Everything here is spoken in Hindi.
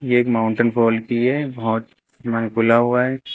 ये एक माउंटेन फॉल की है बहुत हुआ है।